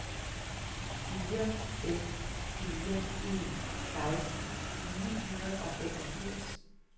fire fem fire en seksten ni hundrede og femogfirs